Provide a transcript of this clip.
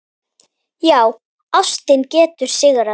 Já, ástin getur sigrað!